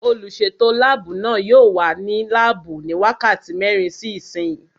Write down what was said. Olùsètò láàbù náà yóò wà ní láàbù ní wákàtí mẹ́rin sí ìsín